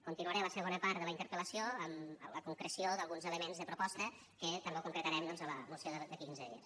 continuaré a la segona part de la interpel·lació amb la concreció d’alguns elements de proposta que també concretarem doncs a la moció d’aquí quinze dies